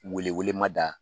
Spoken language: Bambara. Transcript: Weleele ma da